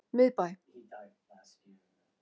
Miðbæ